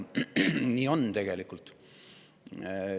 Nii see tegelikult on.